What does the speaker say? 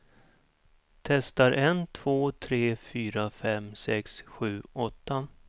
Testar en två tre fyra fem sex sju åtta.